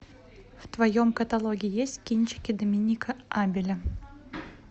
в твоем каталоге есть кинчики доминика абеля